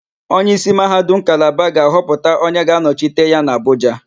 Onyeísí Mahadum nke Kalaba ga-ahọpụta onye ga-anọchite ya n'Abụja.